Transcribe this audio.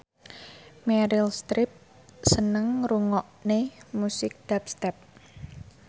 Meryl Streep seneng ngrungokne musik dubstep